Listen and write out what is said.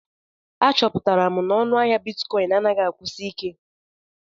Achọpụtara m na ọnụ ahịa Bitikoin anaghị akwụsi ike.